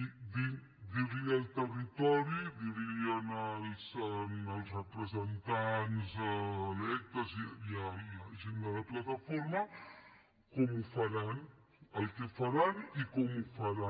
dir li al territori dir als representants electes i a la gent de la plataforma com ho faran el que faran i com ho faran